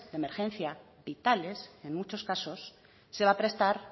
de emergencia vitales en muchos casos se va a prestar